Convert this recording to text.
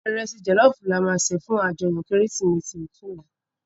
Irèsi jòlòfú làmá sé fún àjòyò Kérésimési òtúnlá